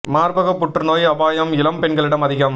மார்பகப் புற்றுநோய் அபாயம் இளம்பெண்களிடம் அதிகம்